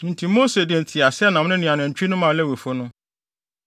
Enti Mose de nteaseɛnam no ne anantwi no maa Lewifo no.